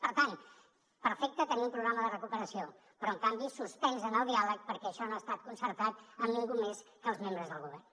per tant perfecte tenir un programa de recuperació però en canvi suspens en el diàleg perquè això no ha estat concertat amb ningú més que els membres del govern